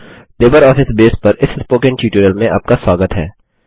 LibreOffice base पर इस spoken tutorial में आपका स्वागत है